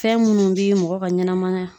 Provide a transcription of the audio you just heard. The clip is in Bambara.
Fɛn munnu bi mɔgɔ ka ɲanamaya